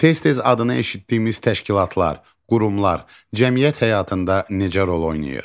Tez-tez adını eşitdiyimiz təşkilatlar, qurumlar cəmiyyət həyatında necə rol oynayır?